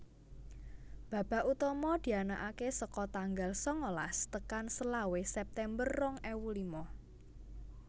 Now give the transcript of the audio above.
Babak utama dianakaké saka tanggal sangalas tekan selawe September rong ewu lima